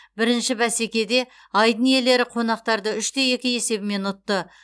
бірінші бәсекеде айдын иелері қонақтарды үш те екі есебімен ұтты